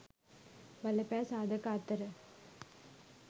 බලපෑ සාධක අතර